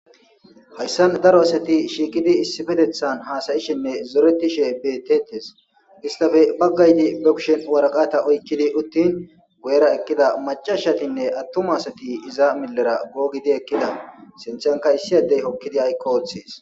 Hayssan daro asati shiikidi issifetethan haasayishinne zoreti she betetes istafe baggaydi bekushen waraqata oykkidi uttin go7era ekkida macashatinne attuma asati iza millera googidi ekkida senthankayssiyadey hokkidi aykko oththes.